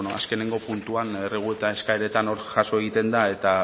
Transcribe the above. azkenengo puntuan errebuelta eskaeretan hor jaso egiten da eta